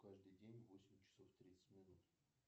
каждый день в восемь часов тридцать минут